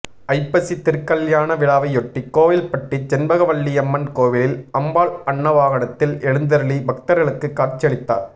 ஐப்பசி திருக்கல்யாண விழாவையொட்டி கோவில்பட்டி செண்பகவல்லியம்மன் கோவிலில் அம்பாள் அன்னவாகனத்தில் எழுந்தருளி பக்தர்களுக்கு கட்சியளித்தார்